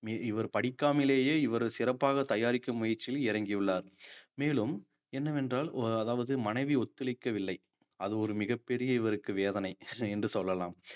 இவர் படிக்காமலேயே இவர் சிறப்பாக தயாரிக்கும் முயற்சியில் இறங்கியுள்ளார் மேலும் என்னவென்றால் அதாவது மனைவி ஒத்துழைக்கவில்லை அது ஒரு மிகப்பெரிய இவருக்கு வேதனை என்று சொல்லலாம்